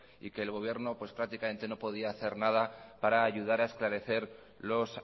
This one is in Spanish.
y que el gobierno pues prácticamente no podía hacer nada para ayudar a esclarecer los